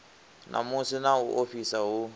namusi na u ofhisa hu